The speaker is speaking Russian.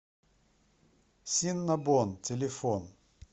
синнабон телефон